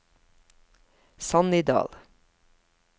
Sannidal